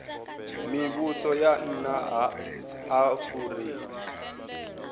mivhuso ya nna ha afurika